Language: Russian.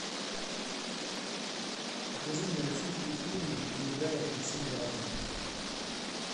покажи мне российские фильмы где играет максим галкин